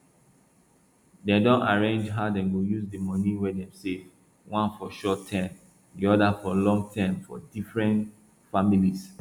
dem don arrange how dem go use the money wey dem save one for short term the other for long term for different families